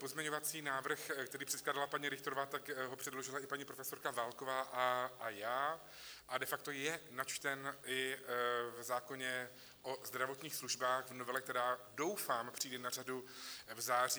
Pozměňovací návrh, který předkládala paní Richterová, tak ho předložila i paní profesorka Válková a já a de facto je načten i v zákoně o zdravotních službách, v novele, která doufám přijde na řadu v září.